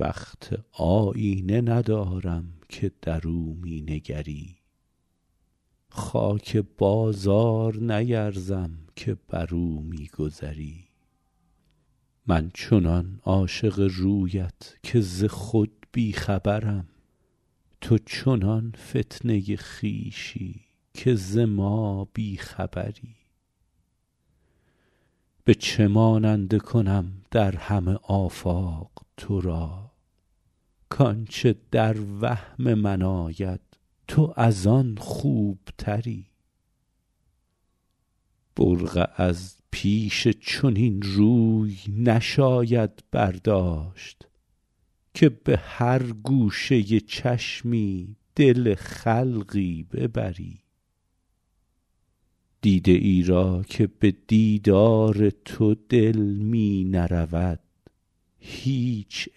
بخت آیینه ندارم که در او می نگری خاک بازار نیرزم که بر او می گذری من چنان عاشق رویت که ز خود بی خبرم تو چنان فتنه خویشی که ز ما بی خبری به چه ماننده کنم در همه آفاق تو را کآنچه در وهم من آید تو از آن خوبتری برقع از پیش چنین روی نشاید برداشت که به هر گوشه چشمی دل خلقی ببری دیده ای را که به دیدار تو دل می نرود هیچ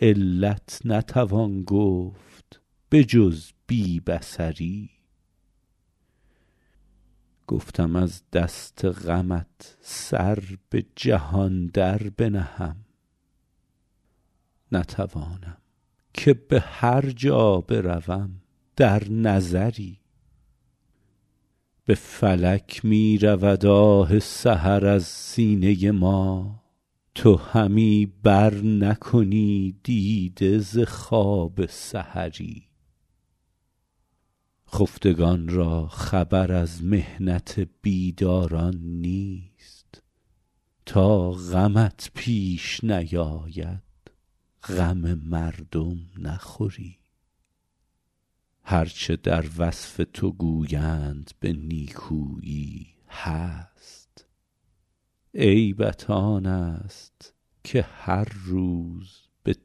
علت نتوان گفت به جز بی بصری گفتم از دست غمت سر به جهان در بنهم نتوانم که به هر جا بروم در نظری به فلک می رود آه سحر از سینه ما تو همی برنکنی دیده ز خواب سحری خفتگان را خبر از محنت بیداران نیست تا غمت پیش نیاید غم مردم نخوری هر چه در وصف تو گویند به نیکویی هست عیبت آن است که هر روز به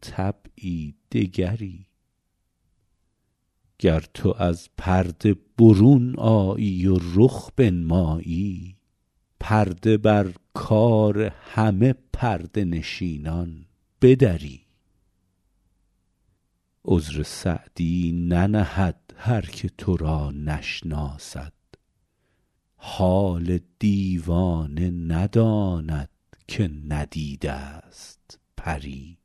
طبعی دگری گر تو از پرده برون آیی و رخ بنمایی پرده بر کار همه پرده نشینان بدری عذر سعدی ننهد هر که تو را نشناسد حال دیوانه نداند که ندیده ست پری